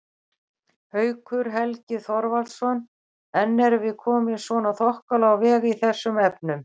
Haukur Helgi Þorvaldsson: En erum við komin svona þokkalega á veg í þessum efnum?